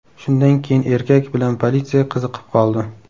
Shundan keyin erkak bilan politsiya qiziqib qoldi.